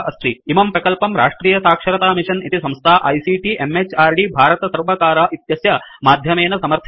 इमं प्रकल्पं राष्ट्रियसाक्षरतामिषन् इति संस्था आईसीटी म्हृद् भारतसर्वकार इत्यस्य माध्यमेन समर्थितवती अस्ति